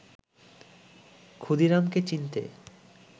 ক্ষুদিরামকে চিনতে